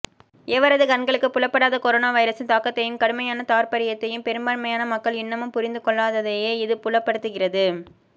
எவரதும் கண்களுக்குப் புலப்படாத கொரோனா வைரசின் தாக்கத்தையும் கடுமையான தார்ப்பரியத்தையும் பெரும்பான்மையான மக்கள் இன்னமும் புரிந்து கொள்ளாததையே இது புலப்படுத்துகிறது